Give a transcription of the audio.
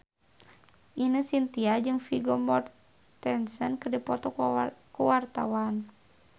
Ine Shintya jeung Vigo Mortensen keur dipoto ku wartawan